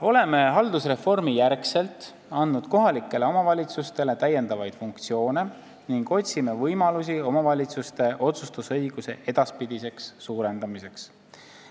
" Oleme haldusreformi järgselt andnud kohalikele omavalitsustele lisafunktsioone ning otsime võimalusi omavalitsuste otsustusõiguse edaspidiseks suurendamiseks.